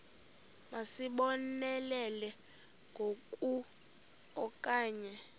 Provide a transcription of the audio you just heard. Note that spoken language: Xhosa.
masizibonelele ngoku okanye